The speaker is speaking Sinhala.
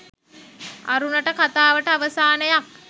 අරුණට කතාවට අවසානයක්